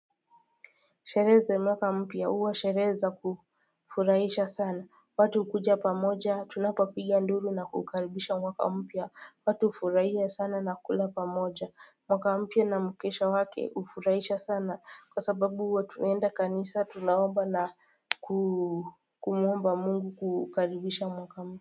Sheree ze mwaka mpya uwa sheree za kufuraisha sana watu kuja pamoja tunapopiga nduru na kuukaribisha mwaka mpya watu ufuraia sana na kula pamoja mwaka mpya na mkesha wake ufuraisha sana kwa sababu watu uenda kanisa tunaomba na kumuomba Mungu kukaribisha mwaka mpya.